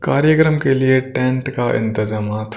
कार्यक्रम के लिए टेंट का इंतजामत--